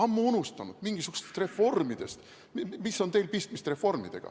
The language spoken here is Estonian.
Mis on teil pistmist reformidega?